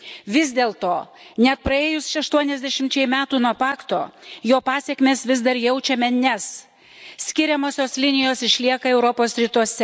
Vis dėlto, net praėjus 80 metų nuo Pakto, jo pasekmes vis dar jaučiame, nes skiriamosios linijos išlieka Europos rytuose.